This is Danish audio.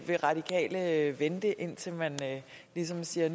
radikale vente indtil man ligesom siger